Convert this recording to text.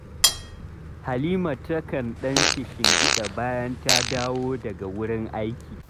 Halima takan ɗan kishigiɗa bayan ta dowa daga wurin aiki